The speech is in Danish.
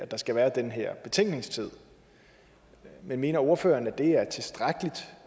der skal være den her betænkningstid men mener ordføreren at det